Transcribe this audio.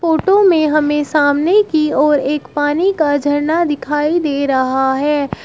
Photo में हमें सामने की ओर एक पानी का झरना दिखाई दे रहा है।